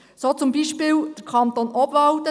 So zum Beispiel der Kanton Obwalden.